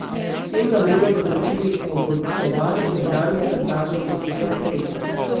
S tem namenom so začeli pogozdovati nekdanjo plantažo kokosovih orehov.